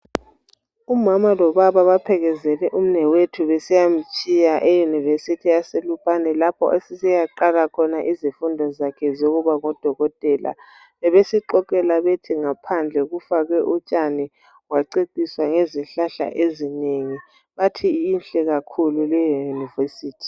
Umama lobaba baphelekezele umnewethu eyunivesithi yaseLupane lapho asesiyaqala khona izifundo zakhe zokuba ngudokotela. Bebesixoxela bethi ngaphandle kufakwe utshani, kwaceciswa ngezihlahla ezinengi bathi inhle kakhulu leyi yunivesithi.